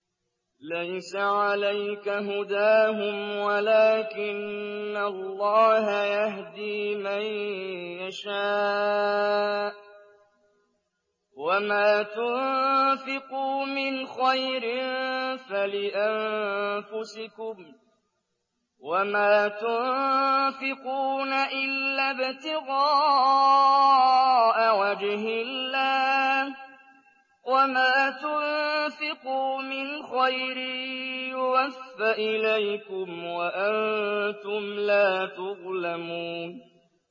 ۞ لَّيْسَ عَلَيْكَ هُدَاهُمْ وَلَٰكِنَّ اللَّهَ يَهْدِي مَن يَشَاءُ ۗ وَمَا تُنفِقُوا مِنْ خَيْرٍ فَلِأَنفُسِكُمْ ۚ وَمَا تُنفِقُونَ إِلَّا ابْتِغَاءَ وَجْهِ اللَّهِ ۚ وَمَا تُنفِقُوا مِنْ خَيْرٍ يُوَفَّ إِلَيْكُمْ وَأَنتُمْ لَا تُظْلَمُونَ